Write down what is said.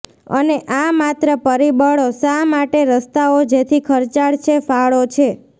અને આ માત્ર પરિબળો શા માટે રસ્તાઓ જેથી ખર્ચાળ છે ફાળો છે